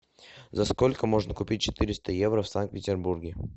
за сколько можно купить четыреста евро в санкт петербурге